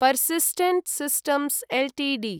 Persistent systems Ltd